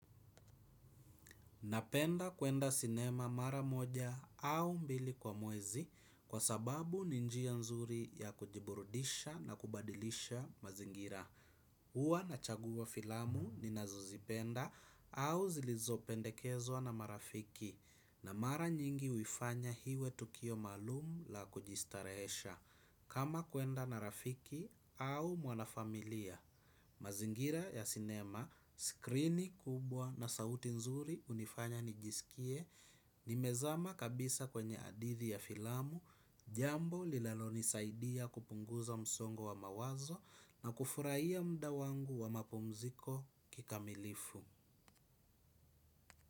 Napenda kwenda sinema mara moja au mbili kwa mwezi kwa sababu ni njia nzuri ya kujiburudisha na kubadilisha mazingira. Huwa nachagua filamu ninazozipenda au zilizopendekezwa na marafiki na mara nyingi huifanya liwe tukio maalumu la kujistarehesha. Kama kwenda na rafiki au mwanafamilia, mazingira ya sinema, skrini kubwa na sauti nzuri hunifanya nijisikie, nimezama kabisa kwenye hadithi ya filamu, jambo linalonisaidia kupunguza msongo wa mawazo na kufurahia muda wangu wa mapumziko kikamilifu.